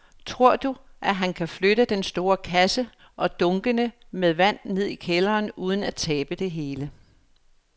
Tror du, at han kan flytte den store kasse og dunkene med vand ned i kælderen uden at tabe det hele?